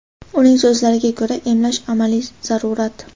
Uning so‘zlariga ko‘ra, emlash — amaliy zarurat.